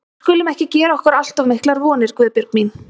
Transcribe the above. Við skulum ekki gera okkur allt of miklar vonir, Guðbjörg mín.